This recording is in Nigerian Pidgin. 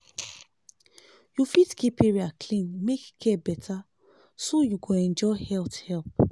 you fit keep area clean make care better so you go enjoy health help.